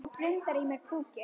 Það blundar í mér púki.